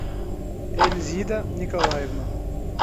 эльзида николаевна